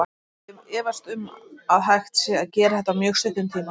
Ég efast um að hægt sé að gera þetta á mjög stuttum tíma.